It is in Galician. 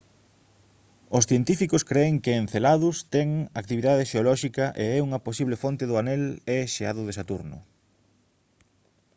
os científicos cren que enceladus ten actividade xeolóxica e é unha posible fonte do anel e xeado de saturno